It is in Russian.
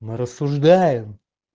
мы рассуждаем